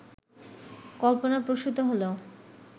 কল্পনাপ্রসূত হলেও